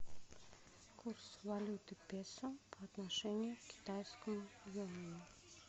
курс валюты песо по отношению к китайскому юаню